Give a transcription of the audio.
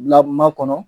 Bila ma kɔnɔ